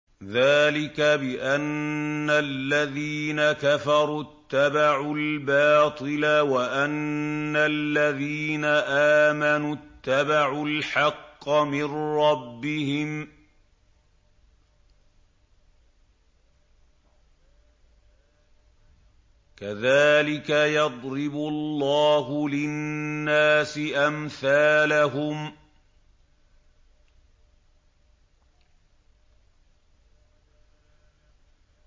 ذَٰلِكَ بِأَنَّ الَّذِينَ كَفَرُوا اتَّبَعُوا الْبَاطِلَ وَأَنَّ الَّذِينَ آمَنُوا اتَّبَعُوا الْحَقَّ مِن رَّبِّهِمْ ۚ كَذَٰلِكَ يَضْرِبُ اللَّهُ لِلنَّاسِ أَمْثَالَهُمْ